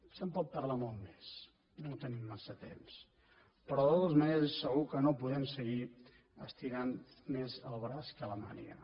se’n pot parlar molt més no tenim massa temps però de totes maneres és segur que no podem seguir estirant més el braç que la màniga